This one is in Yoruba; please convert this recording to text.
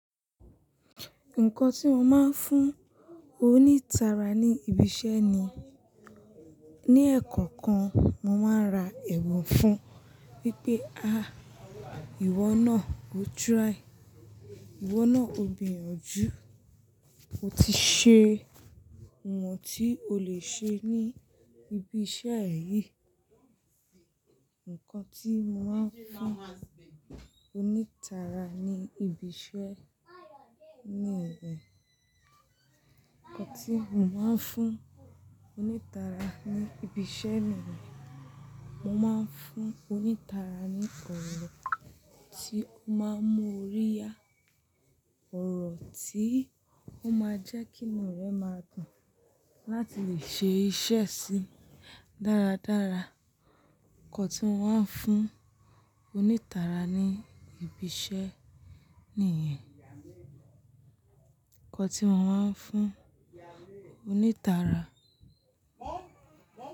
Nǹkan tí mo máa ń fún onítara ní ibi iṣẹ́ ni, ní eekan kan, mo máa n ra ẹ̀bun fún wipé, ah, ìwọ náà, o try. Ìwọ náà, o gbiyanjú. O ti ṣe iwon tí o lè ṣe ní ibi iṣẹ́ yìí. Nǹkan tí mo máa ń fún onítara ní ibi iṣẹ́ ni ìbẹ̀. Nǹkan tí mo máa ń fún onítara ní ibi iṣẹ́ mi ni, mo máa ń fún onítara ní ọ̀rọ̀ tí ó máa mu orí yá, ọ̀rọ̀ tí ó máa jẹ́ kí inú rẹ̀ máa dùn láti lè ṣe iṣẹ́ síi dáradára. Nǹkan tí mo máa ń fún onítara ní ibi iṣẹ́ nìyẹn. Nǹkan tí mo máa ń fún onítara.